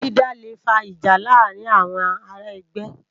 Ôwó dìdá lé fá ijá làárin áwòn àrá ègbè